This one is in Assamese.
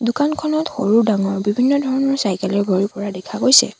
দোকানখনত সৰু ডাঙৰ বিভিন্ন ধৰণৰ চাইকেল এৰে ভৰি পৰা দেখা গৈছে।